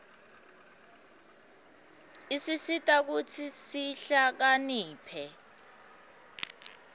isisita kutsi sihlakaniphe